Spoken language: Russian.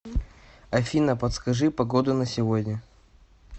афина подскажи погоду на сегодня